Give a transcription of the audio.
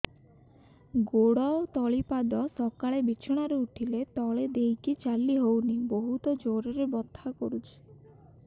ଗୋଡ ତଳି ପାଦ ସକାଳେ ବିଛଣା ରୁ ଉଠିଲେ ତଳେ ଦେଇକି ଚାଲିହଉନି ବହୁତ ଜୋର ରେ ବଥା କରୁଛି